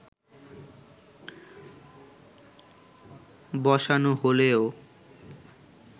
বসানো হলেও